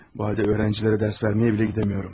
Heç tələbələrə dərs verməyə belə gedə bilmirəm.